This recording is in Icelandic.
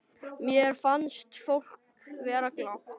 Mér fannst fólk vera glatt.